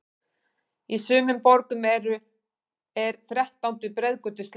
Í sumum borgum er þrettándu breiðgötu sleppt.